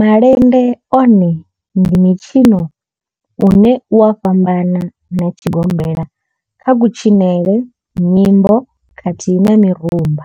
Malende one ndi mitshino une u a fhambana na tshigombela kha kutshinele, nyimbo khathihi na mirumba.